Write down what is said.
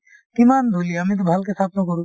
কিমান ধূলি আমিতো ভালকে চাফ নকৰো